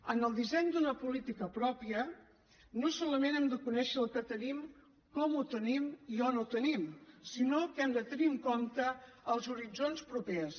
en el disseny d’una política pròpia no solament hem de conèixer el que tenim com ho tenim i on ho tenim sinó que hem de tenir en compte els horitzons propers